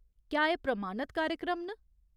क्या एह् प्रमाणत कार्यक्रम न ?